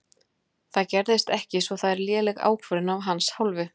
Það gerðist ekki svo það er léleg ákvörðun af hans hálfu.